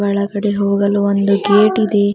ಒಳಗಡೆ ಹೋಗಲು ಒಂದು ಗೇಟ್ ಇದೆ.